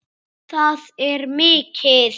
Það er mikið.